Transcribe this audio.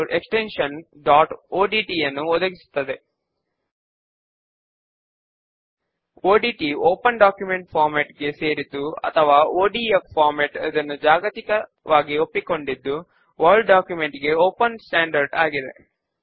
ఇప్పుడు కొన్ని నిముషముల క్రితము మనము క్రియేట్ చేసిన న్యూ క్వెర్రీ ను మనము కాల్ చేద్దాము